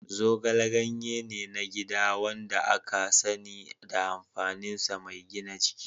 Zogale ganye ne na gida wanda aka sani da amfaninsa mai gina jiki.